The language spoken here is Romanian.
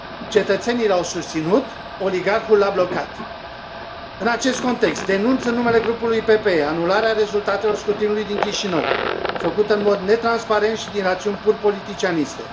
Cetățenii l au susținut, oligarhul l a blocat. În acest context, denunț, în numele grupului PPE, anularea rezultatelor scrutinului din Chișinău, făcută în mod netransparent și din rațiuni pur politicianiste.